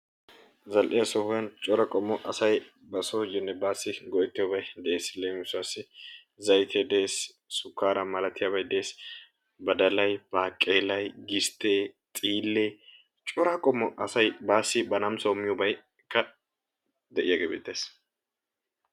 Zal"iya sohuwan asay bari soossinne baassi go'ettiyobay dees. Leem, zaytee dees, sukkaariya malatiyabay dees, badalay, baaqeelay, gisttee, xiillee cora qommo asay ba namisawu miyo kattay de'iyagee beettees.